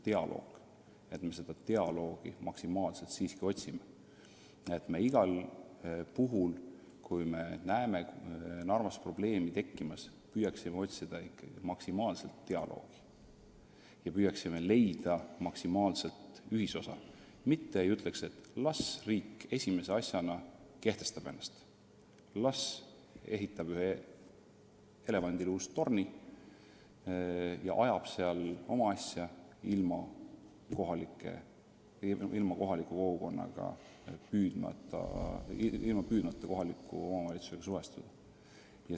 Ma loodan, et me seda dialoogi maksimaalse jõuga otsime, et me igal puhul, kui me näeme Narvas probleemi tekkimas, püüaksime jõuda dialoogini, maksimaalse ühisosani, mitte ei ütleks, et las riik esimese asjana kehtestab ennast, las ehitab ühe elevandiluust torni ja ajab seal oma asja, ilma püüdmata kohaliku omavalitsusega üksmeelele jõuda.